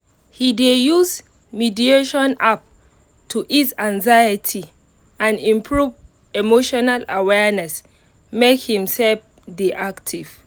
he dey use mediation app to ease anxiety and improve emotional awareness make himself dey active